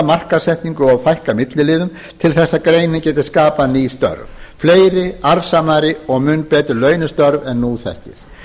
markaðssetningu og fækka milliliðum til þess að greinin geti skapað ný störf fleiri arðsamari og mun betur launaðri störf en nú þekkist